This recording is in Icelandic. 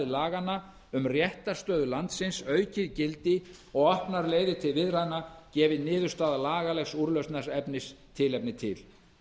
laganna um réttarstöðu landsins aukið gildi og opnar leið til viðræðna gefi niðurstaða lagalegs úrlausnaraðila tilefni til